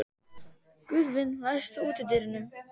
Guðvin, læstu útidyrunum.